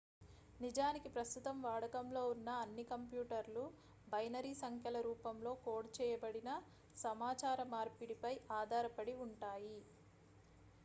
నిజానికి ప్రస్తుతం వాడకంలో ఉన్న అన్ని కంప్యూటర్లు బైనరీ సంఖ్యల రూపంలో కోడ్ చేయబడిన సమాచార మార్పిడిపై ఆధారపడి ఉంటాయి